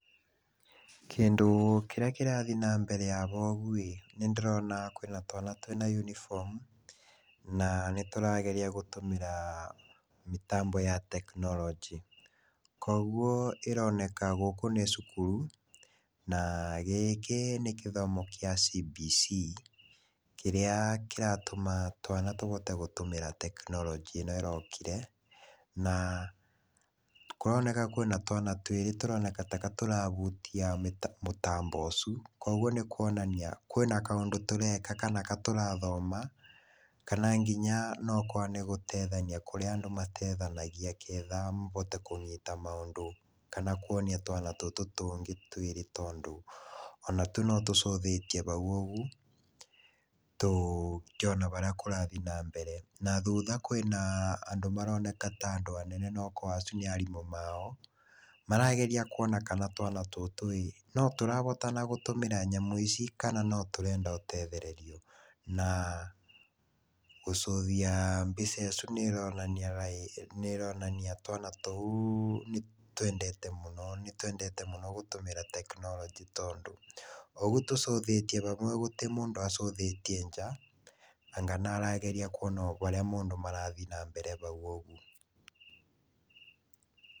Kĩndũ kĩrĩa kĩrathi na mbere haha ũgu ĩ, nĩ ndĩrona kwĩna twana twĩna yunifomu na nĩ tũrageria gũtũmĩra mĩtambo ya tekinoronjĩ. Koguo ĩroneka gũkũ nĩ cukuru na gĩkĩ nĩ gĩthomo gĩa CBC, kĩrĩa kĩratũma twana tũhote gũtũmĩra tekinoronjĩ ĩno ĩrokire, na kũroneka kwina twana twĩrĩ tũroneka taka tũrahutia mũtambo ũcu. K oguo nĩkũonania kwĩna kaũndũ tũreka kana kaũndũ tũrathoma kana nginya nokorwa nĩgũteithania kũrĩa andũ matethanagĩa nĩgetha ahote kũnyita maũndũ kana kwonia twana tũtũ tũngĩ twĩrĩ tondũ ona tu nĩtũrorete haũ ũgu, tũkĩona harĩa kũrathi na mbere. Na thutha kwĩna andũ maroneka ta andũ anene okorwa acu nĩ arimũ mao, marageria kuona kana twana tũtũ ĩ, no tũrahota gũtũmĩra nyamũ ici kana notũrenda gũtethererio. Na kũrora mbica icu nĩ ronania twana tũu nĩ twendete mũno gũtũmĩra tekinoronjĩ tondũ ũgu tũrorete hau gũtĩmũndũ arorete nja, anga niarageria kwona oharĩa mũndũ marathiĩ na mbere hau ũgũo.